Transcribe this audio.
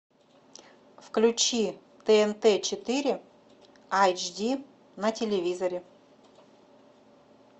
включи тнт четыре айч ди на телевизоре